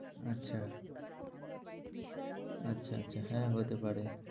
আচ্ছা আচ্ছা আচ্ছা হ্যাঁ হতে পারে।